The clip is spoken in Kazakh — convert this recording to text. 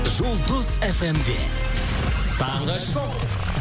жұлдыз фмде таңғы шоу